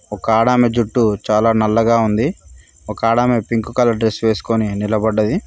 ఒక ఆడమి జుట్టు చాలా నల్లగా ఉంది ఒక ఆడమే పింక్ కలర్ డ్రెస్ వేసుకొని నిలబడ్డది.